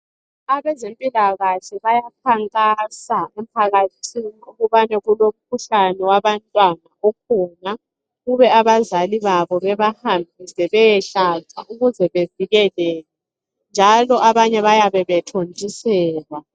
Abezempilakahle bayakhankasa kumphakathi ukubana kulomkhuhlane wabantwana okhona ukuba abazali babo babahambise beyehlatshwa ukuze bevikeleke njalo abanye bayabe bethontiselwa.